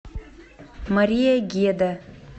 мария геда